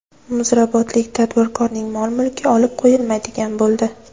Muzrabotlik tadbirkorning mol-mulki olib qo‘yilmaydigan bo‘ldi.